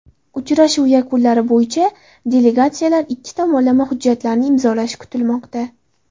Uchrashuv yakunlari bo‘yicha delegatsiyalar ikki tomonlama hujjatlarni imzolashi kutilmoqda.